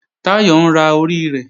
Táyọ̀ ń ra orí rẹ̀